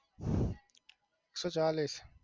એક સો ચાલીસ